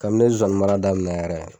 Kabini ne ye zozani mara daminɛn yɛrɛ